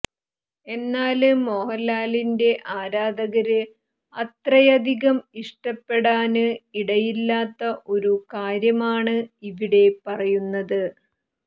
എന്നാല് മോഹന്ലാലിന്റെ ആരാധകര് അത്രയധികം ഇഷ്ടപ്പെടാന് ഇടയില്ലാത്ത ഒരു കാര്യമാണ് ഇവിടെ പറയുന്നത്